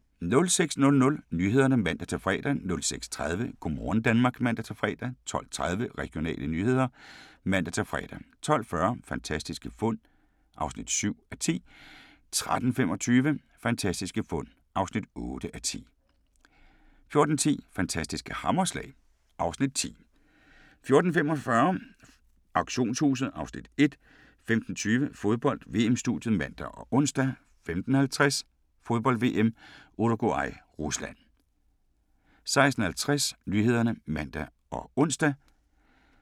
06:00: Nyhederne (man-fre) 06:30: Go' morgen Danmark (man-fre) 12:30: Regionale nyheder (man-fre) 12:40: Fantastiske fund (7:10) 13:25: Fantastiske fund (8:10) 14:10: Fantastiske hammerslag (Afs. 10) 14:45: Auktionshuset (Afs. 1) 15:20: Fodbold: VM-studiet (man og ons) 15:50: Fodbold: VM - Uruguay-Rusland 16:50: Nyhederne (man og ons)